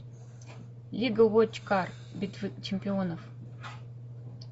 лига вочкар битва чемпионов